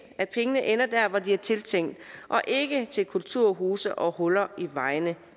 at pengene ender der hvor de er tiltænkt og ikke til kulturhuse og huller i vejene